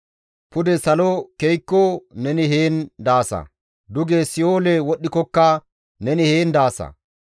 Pude salo ke7ikko neni heen daasa! Duge si7oole wodhdhikokka neni heen daasa.